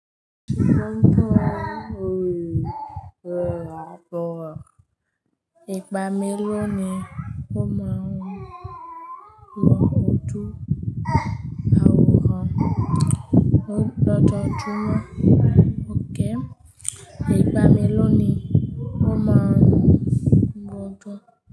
Ìgbà mélo ni o ma n wo ojú awòràn ló tò tó tún má òkè? Ìpà melo ni o ma n gbòdò?